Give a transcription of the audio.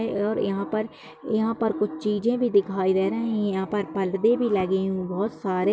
और यहाँ पर यहाँ पर कुछ चीज़े भी दिखाई दे रही हैं यहाँ पर परदे भी लगे हुए है बहुत सार--